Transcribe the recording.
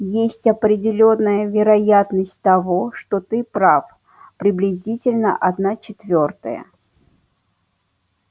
есть определённая вероятность того что ты прав приблизительно одна четвёртая